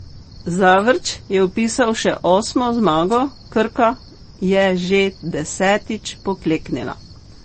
Zavrč je vpisal še osmo zmago, Krka je že desetič pokleknila.